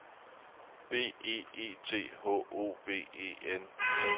B E E T H O V E N